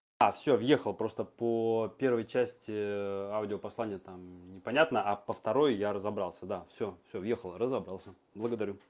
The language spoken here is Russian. а всё въехал просто по первой части аудиопослание там непонятно а по второй я разобрался да всё всё въехал разобрался благодарю